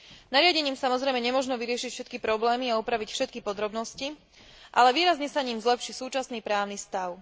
Nariadením, samozrejme, nemožno vyriešiť všetky problémy a upraviť všetky podrobnosti, ale výrazne sa ním zlepší súčasný právny stav.